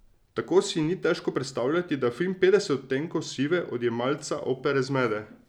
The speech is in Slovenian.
Tako si ni težko predstavljati, da film Petdeset odtenkov sive odjemalca Opere zmede.